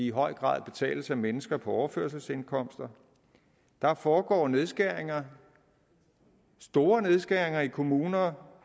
i høj grad betales af mennesker på overførselsindkomster der foregår nedskæringer store nedskæringer i kommuner